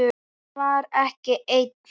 Hann var ekki einn.